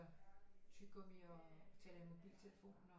Tyggegummi og taler i mobiltelefon og